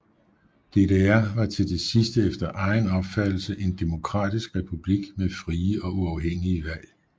DDR var til det sidste efter egen opfattelse en demokratisk republik med frie og uafhængige valg